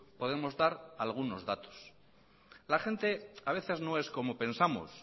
podemos dar algunos datos la gente a veces no es como pensamos